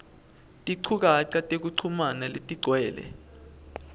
tinchukaca tekuchumana letigcwele